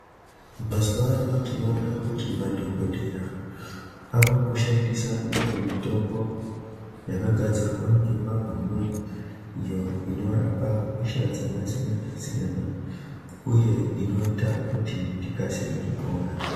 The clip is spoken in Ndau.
Mazuva ano tinoonakuti madhogodheya avekushandisa mimwe mitombo yakagadzirwa ngemabhunu iyo inorapa hosha dzakasiyana-siyana uye inoita kuti tikasike kupona.